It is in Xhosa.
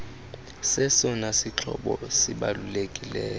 sesona sixhobo sibalulekileyo